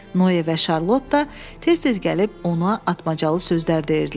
Noe və Şarlot da tez-tez gəlib ona atmacalı sözlər deyirdilər.